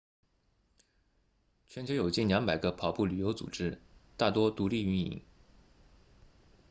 全球有近200个跑步旅游组织大多独立运营